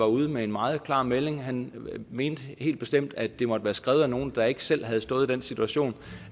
ude med en meget klar melding han mente helt bestemt at det måtte være skrevet af nogle der ikke selv havde stået i den situation